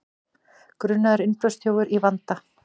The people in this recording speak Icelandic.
Grunaður innbrotsþjófur í vanda